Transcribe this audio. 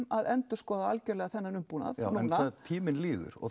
að endurskoða þennan umbúnað núna en tíminn líður og